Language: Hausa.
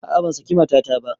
A'a ban saki matata ba